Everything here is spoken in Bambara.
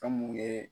Famori ye